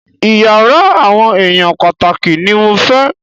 Iyàrá àwọn èèyàn pàtàkì ní mo fẹ́!